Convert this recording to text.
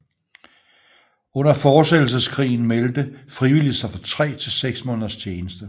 Under fortsættelseskrigen meldte frivillige sig for tre til seks måneders tjeneste